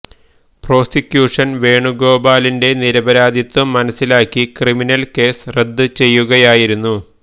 പ്രോസികുഷന് വേണുഗോപാലിന്റെ നിരപരാധിത്വം മനസിലാക്കി ക്രിമിനല് കേസ് റദ്ദു ചെയ്യുകയായിരുന്നു